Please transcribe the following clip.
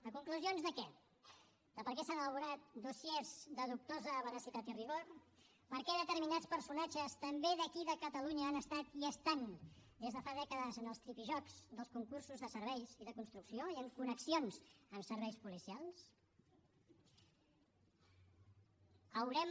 a conclusions de què de per què s’han elaborat dossiers de dubtosa veracitat i rigor per què determinats personatges també d’aquí de catalunya han estat i estan des de fa dècades en els tripijocs dels concursos de serveis i de construcció i amb connexions amb serveis policials haurem